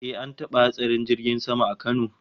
Eh, an taba hatsarin jirgin sama a Kano